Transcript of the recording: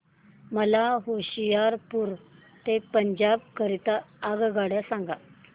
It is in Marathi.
मला होशियारपुर ते पंजाब करीता आगगाडी सांगा